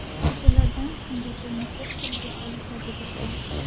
O‘shalardan Singapurni ko‘p tilga olishadi bizda.